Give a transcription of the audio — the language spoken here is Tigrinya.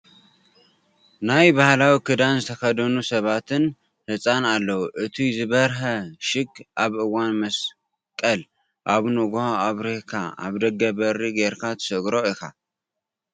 ናይ ባህላዊ ክዳን ዝተከደኑ ሰባትን ህፃን ኣለው እቱይ ዝበረሀ ሽግ ኣብ እዋን ምስቀል ኣብ ንግሆ ኣብርሂካ ኣብ ደገ በሪ ገይርካ ትሰገሮ ኢካ ።